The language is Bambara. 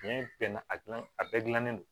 Tiɲɛ bɛɛ na a gilan a bɛɛ gilannen don